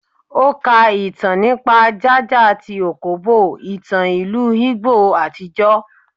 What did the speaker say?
O ká ìtàn nípa ja-ja tí okpobo, ìtàn ìlú Igbo àtijọ́.